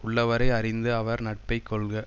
உள்ளவரை அறிந்து அவர் நட்பை கொள்க